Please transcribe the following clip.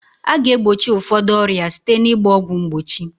A ga egbochi ụfọdụ ọrịa site na ịgba ọgwụ mgbochi